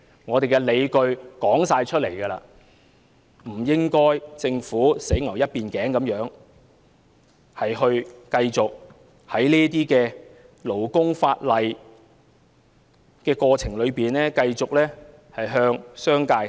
我們既已拿出理據，政府便不應該一意孤行，繼續在這些勞工法例上偏袒商界。